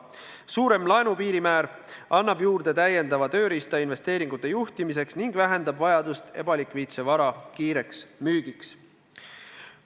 Suurem laenu piirmäär annab juurde täiendava tööriista investeeringute juhtimiseks ning vähendab vajadust ebalikviidse vara kiireks müügiks.